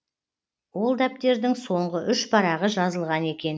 ол дәптердің соңғы үш парағы жазылған екен